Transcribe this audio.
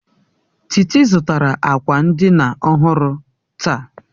Titi zụtara akwa ndina ọhụrụ taa